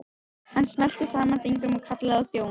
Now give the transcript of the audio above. Hann smellti saman fingrum og kallaði á þjón.